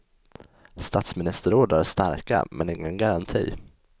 Statsministerord är starka men ingen garanti.